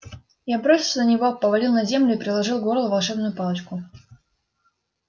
я бросился на него повалил на землю и приложил к горлу волшебную палочку